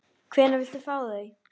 Hvenær viltu fá þau?